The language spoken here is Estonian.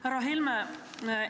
Härra Helme!